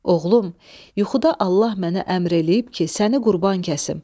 "Oğlum, yuxuda Allah mənə əmr eləyib ki, səni qurban kəsim.